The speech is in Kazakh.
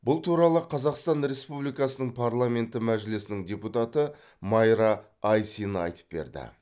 бұл туралы қазақстан республикасының парламенті мәжілісінің депутаты майра айсина айтып берді